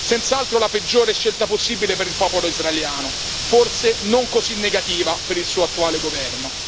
Senz'altro la peggiore scelta possibile per il popolo israeliano, ma forse non così negativa per il suo attuale governo.